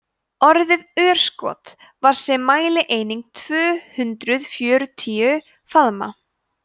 orðið örskot var sem mælieining tvö hundruð fjörutíu faðmar